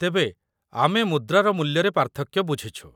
ତେବେ, ଆମେ ମୁଦ୍ରାର ମୂଲ୍ୟରେ ପାର୍ଥକ୍ୟ ବୁଝିଛୁ।